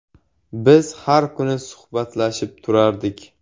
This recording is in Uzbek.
Biz har kuni suhbatlashib turardik.